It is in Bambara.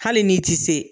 Hali n'i ti se